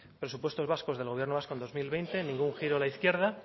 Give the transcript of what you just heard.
presupuestos vascos del gobierno vasco en dos mil veinte ningún giro a la izquierda